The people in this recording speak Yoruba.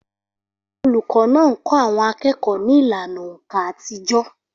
Olùkọ́ náà ńkọ́ àwọn akẹ́kọ̀ọ́ ní ìlànà òǹkà àtijọ́